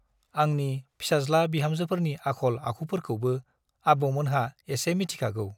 आंनि फिसाज्ला बिहामजोफोरनि आख'ल - आखुफोरखौबो आबौमोनहा एसे मिथिखागौ ।